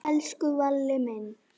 Elsku Valli minn.